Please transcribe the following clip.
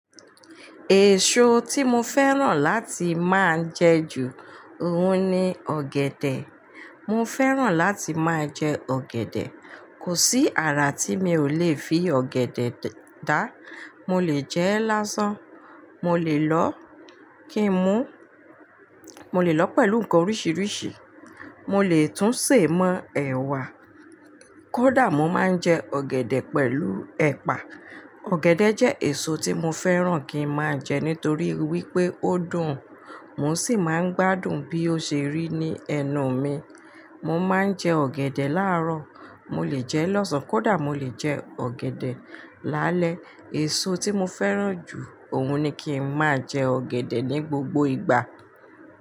Èso tí mo fẹ́ràn láti máa ń jẹ ju, òun ni ọ̀gẹ̀dẹ̀. Mo fẹ́ràn láti máa jẹ ọ̀gẹ̀dẹ̀. Kò sí àrà tí mi ò lèé fi ọ̀gẹ̀dẹ̀ dá. Mo lè jẹ ẹ lásán, mo lè lọ kí n mu, mo lè lọ pẹ̀lú nǹkan oríṣiríṣi, mo lè tún sè mọ́ ẹ̀wà. Kódà mo máa ń jẹ ọ̀gẹ̀dẹ̀ pẹ̀lú ẹ̀pà. Ọ̀gẹ̀dẹ̀ jẹ́ èso tí mo fẹ́ràn kí ń máa jẹ nítorí wípé ó dùn. Mo sì máa ń gbádùn bí ó ṣe rí ní ẹnu mi. Mo máa ń jẹ ọ̀gẹ̀dẹ̀ láàrọ̀, mo lè jẹ ẹ lọ́sàn-án, kódà mo lè jẹ ọ̀gẹ̀dẹ̀ lálẹ́. Èso tí mo fẹ́ràn jù òun ni kí ń máa jẹ ọ̀gẹ̀dẹ̀ ní gbogbo ìgbà.